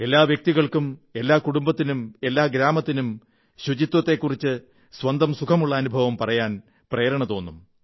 എല്ലാ വ്യക്തികൾക്കും എല്ലാ കുടുംബത്തിനും എല്ലാ ഗ്രാമത്തിനും ശുചിത്വത്തെക്കുറിച്ച് സ്വന്തം സുഖമുള്ള അനുഭവം പറയാൻ പ്രേരണതോന്നും